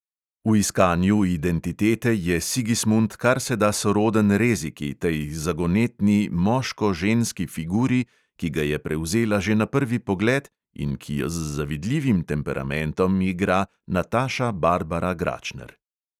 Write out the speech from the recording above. V iskanju identitete je sigismund karseda soroden reziki, tej zagonetni moško-ženski figuri, ki ga je prevzela že na prvi pogled, in ki jo z zavidljivim temperamentom igra nataša barbara gračner.